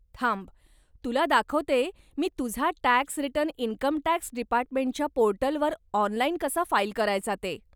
थांब, तुला दाखवते मी तुझा टॅक्स रिटर्न इन्कमटॅक्स डिपार्टमेंटच्या पोर्टलवर ऑनलाईन कसा फाईल करायचा ते.